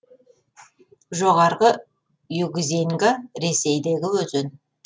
жоғарғы югзеньга ресейдегі өзен